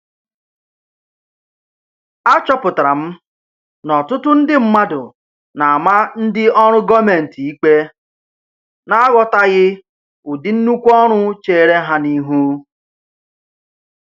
A chọpụtara m n'ọtụtụ ndị mmadụ na-ama ndị ọrụ gọọmentị ikpe na-aghọtaghị ụdị nnukwu ọrụ cheere ha n'ihu.